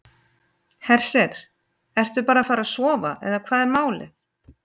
Hersir: Ertu bara að fara að sofa eða hvað er málið?